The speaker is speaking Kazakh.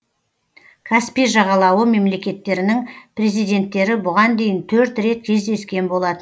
каспий жағалауы мемлекеттерінің президенттері бұған дейін төрт рет кездескен болатын